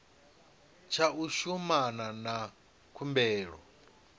tsha u shumana na khumbelo